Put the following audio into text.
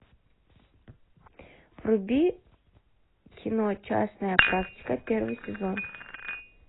вруби кино частная практика первый сезон